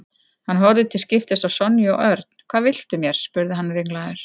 Hann horfði til skiptis á Sonju og Örn. Hvað viltu mér? spurði hann ringlaður.